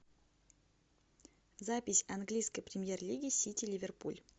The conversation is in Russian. запись английской премьер лиги сити ливерпуль